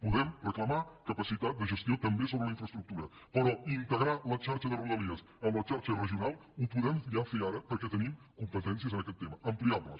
podem reclamar capacitat de gestió també sobre la infraestructura però integrar la xarxa de rodalies en la xarxa regional ho podem ja fer ara perquè tenim competències en aquest tema ampliables